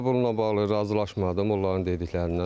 Mən də bununla bağlı razılaşmadım onların dediklərindən.